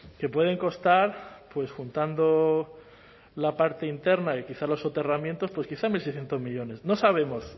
que pueden costar pues juntando la parte interna y quizás los soterramientos pues quizá en mil seiscientos millónes no sabemos